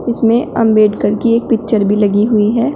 इसमें अंबेडकर की एक पिक्चर भी लगी हुई है।